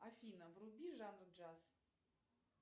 афина вруби жанр джаз